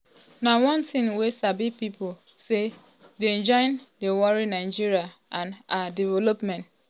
na one tin wey sabi pipo um say dey join dey worry nigeria um and her development.